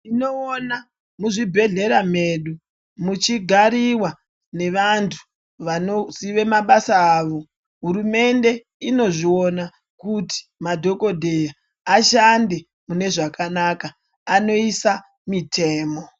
Tinoona muzvibhedhlera medu muchigariwa nevantu vanozive mabasa avo hurumende inozviona kuti madhokodheya ashande mune zvakanaka anoisa mitemo.